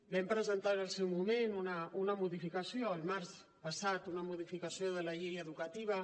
vam presentar en el seu moment una modificació el març passat una modificació de la llei educativa